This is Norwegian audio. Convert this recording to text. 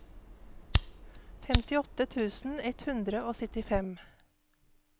femtiåtte tusen ett hundre og syttifem